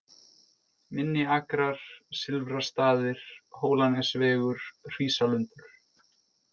Minni-Akrar, Silfrastaðir, Hólanesvegur, Hrísalundur